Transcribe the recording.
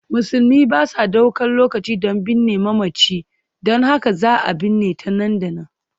Musulmi ba sa ɗaukar lokaci don binne mamaci, don haka za a binne ta nan da nan.